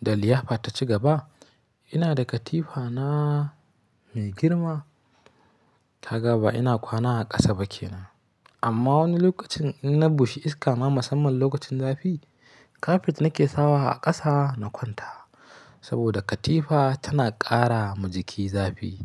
da liyafa ta ci gaba, ina da katifa na mai girma. Kaga ba ina kwana a ƙasa ba kenan. Amma wani lokacin in na bushe iska ma musamman lokacin zafi, kafet na ke sawa a ƙasa na kwanta. Saboda katifa tana ƙara ma jiki zafi.